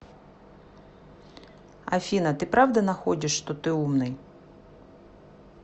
афина ты правда находишь что ты умный